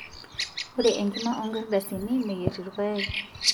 ore ekima orngadasini meyier irpaek